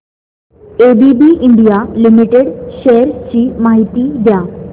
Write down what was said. ABB India limited shares ची माहिती द्या